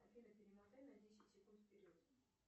афина перемотай на десять секунд вперед